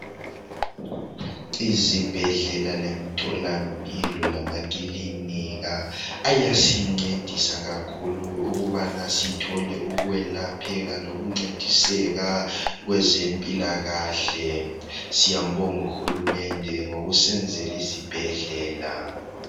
Izibhedlela lemtholampilo lamakilinika ayasincedisa kakhulu ukubana sithole ukwelapheka lokuncediseka kwezempilakahle. Siyambonga UHulumende ngokusenzela izibhedlela .